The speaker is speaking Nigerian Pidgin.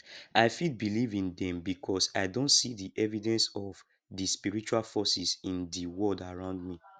i fit believe in dem because i don see di evidence of di spiritual forces in di world around me